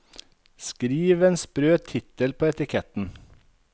Skriv en sprø tittel på etiketten.